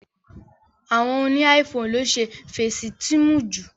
Àwọn óni iPhone lo ǹ ṣe Fésitiimu ju.